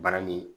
Bara ni